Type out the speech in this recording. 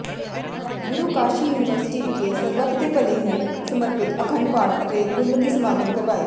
ਗੁਰੂ Kashi university ਵਿਖੇ ਸਰਬੱਤ ਦੇ ਭਲੇ ਨੂੰ ਸਮਰਪਿਤ ਅਖੰਡ ਪਾਠ ਅਤੇ ਗੁਰਮਤਿ ਸਮਾਗਮ ਕਰਵਾਏ